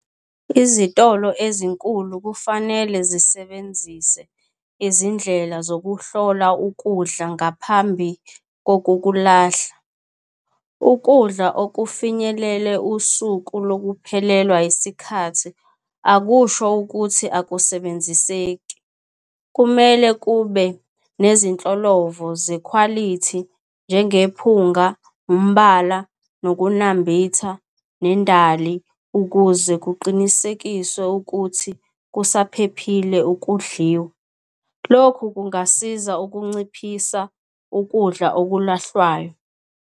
Izitolo ezinkulu kufanele zisebenzise izindlela zokuhlola ukudla ngaphambi kokukulahla. Ukudla okufinyelele usuku lokuphelelwa isikhathi akusho ukuthi akusebenziseki. Kumele kube nezinhlolovo zekhwalithi njengephunga, umbala, nokunambitha, nendali ukuze kuqinisekiswe ukuthi kusaphephile ukudliwa. Lokhu kungasiza ukunciphisa ukudla okulahlwayo.